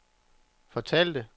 fortalte